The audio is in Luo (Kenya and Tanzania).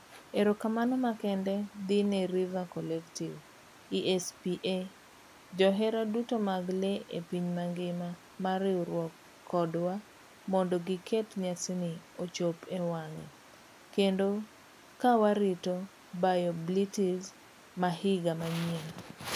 Erokamano makende dhi ne River Collective ,ESPA, johera duto mag lee epiny mangima mar riwruok kodwa mondo giket nyasina ochop ewang'e kendo ka warito BioBlitz mahiga manyien.